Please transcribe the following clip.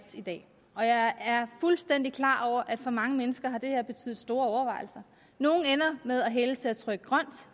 i dag og jeg er fuldstændig klar over at for mange mennesker har det her betydet store overvejelser nogle ender med at hælde til at trykke grønt